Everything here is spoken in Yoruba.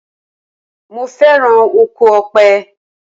Mo féràn oko Ọ̀pẹ.